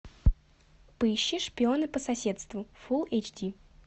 поищи шпионы по соседству фул эйч ди